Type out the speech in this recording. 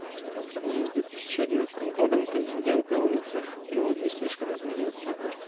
по сравнению с годом контингент на улицах но не слишком изменился